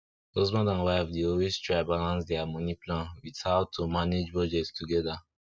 husband and wife dey always try balance dia moni plan with how to manage budget together